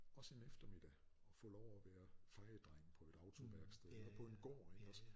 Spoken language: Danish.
Også en eftermiddag og få lov at være fejedreng på et autoværksted eller på en gård ik også